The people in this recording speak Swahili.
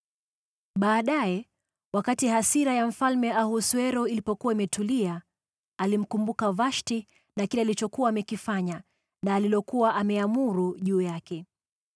Baadaye, wakati hasira ya Mfalme Ahasuero ilikuwa imetulia, alimkumbuka Vashti na kile alichokuwa amekifanya na alilokuwa ameamuru juu yake.